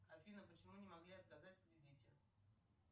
афина почему не могли отказать в кредите